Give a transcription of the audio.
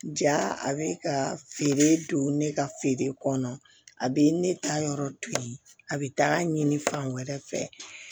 Ja a bɛ ka feere don ne ka feere kɔnɔ a bɛ ne ta yɔrɔ to yen a bɛ taa ɲini fan wɛrɛ fɛ